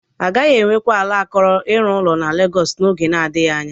Agaghị enwekwa ala akọrọ ịrụ ụlọ na Legọs n'oge nadịghị anya.